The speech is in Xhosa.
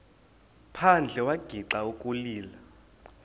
phandle wagixa ukulila